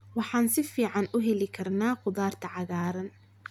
Waxaan si fiican u heli karnaa khudaarta cagaaran.